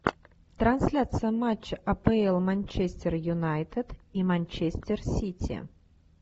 трансляция матча апл манчестер юнайтед и манчестер сити